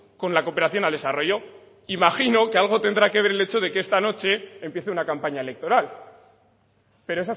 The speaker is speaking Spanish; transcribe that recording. con la cooperación al desarrollo imagino que algo tendrá que ver el hecho de que esta noche empiece una campaña electoral pero